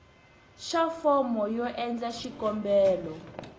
xa fomo yo endla xikombelo